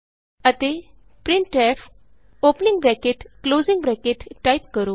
ਅਤੇ printf opening bracket closing bracket type ਕਰੋ